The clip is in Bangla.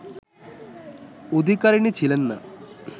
অধিকারিণী ছিলেন না